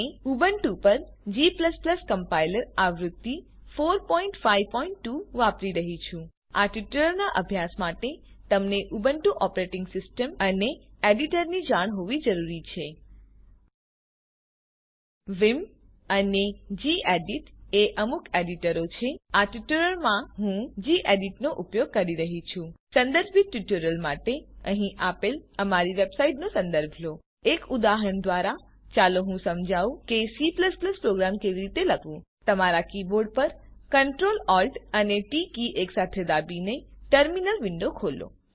Ubuntu પર G compiler આવૃત્તિ ૪૫૨ વાપરી રહ્યી છું આ ટ્યુટોરીયલનાં અભ્યાસ માટે તમને ઉબુન્ટુ ઓપરેટીંગ સીસ્ટમ અને એડીટરની જાણ હોવી જરૂરી છે વિમ અને ગેડિટ એ અમુક એડીટરો છે આ ટ્યુટોરીયલમાં હું ગેડિટ નો ઉપયોગ કરી રહ્યી છું સંદર્ભિત ટ્યુટોરીયલ માટે અહીં આપેલ અમારી વેબસાઈટનો સંદર્ભ લો એક ઉદાહરણ દ્વારા ચાલો હું સમજાવું કે C પ્રોગ્રામ કેવી રીતે લખવું તમારા કીબોર્ડ પર Ctrl Alt અને ટી કી એકસાથે દાબીને ટર્મિનલ વિન્ડો ખોલો